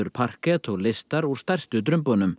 parket og listar úr stærstu